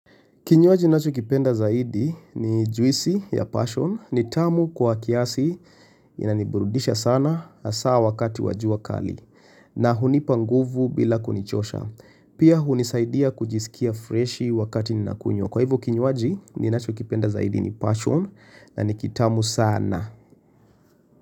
Kinywaji ninachokipenda zaidi ni juisi ya passion. Ni tamu kwa kiasi inaniburudisha sana hasa wakati wa jua kali na hunipa nguvu bila kunichosha. Pia hunisaidia kujisikia freshi wakati ninakunywa. Kwa hivyo, kinywaji ninachokipenda zaidi ni passion na ni kitamu sana.